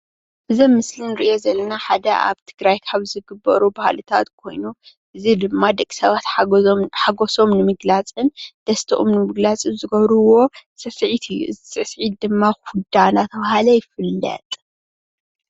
እዚ ኣብ ምስሊ እንሪኦ ዘለና ሓደ ኣብ ትግራይ ካብ ዝግበሩ ባህልታት ኾይኑ እዚ ድማ ደቂ ሰባት ሓጎሶም ንምግላፅን ደስተኦም ንምግላፅን ዝገብሩዎ ስዕሲዒት እዩ። እዚ ስዕሲዒት ድማ ኩዳ እናተብሃለ ይፍለጥ።